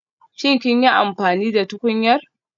Shin kun yi amfani da tukunyar?